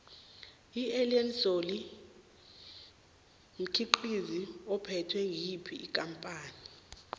iallen solly mkhiqizo uphethwe ngiyophi ikampani